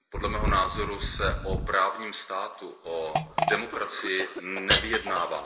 Podle mého názoru se o právním státu, o demokracii nevyjednává.